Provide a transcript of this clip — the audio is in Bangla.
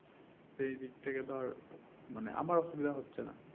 সেই দিক থেকে ধর মানে আমার অসুবিধা হচ্ছে না